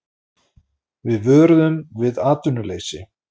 Við vöruðum við atvinnuleysi